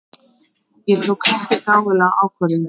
Ég tók ekki gáfulega ákvörðun.